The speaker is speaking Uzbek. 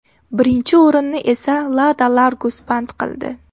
Birinchi o‘rinni esa Lada Largus band qildi.